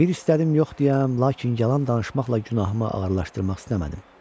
Bir istədim yox deyəm, lakin yalan danışmaqla günahımı ağırlaşdırmaq istəmədim.